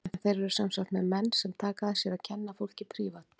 En þeir eru sem sagt með menn sem taka að sér að kenna fólki prívat.